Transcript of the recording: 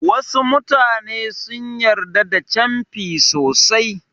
Wasu mutane sun yarda da canfi sosai.